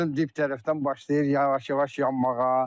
gördüm dib tərəfdən başlayır yavaş-yavaş yanmağa.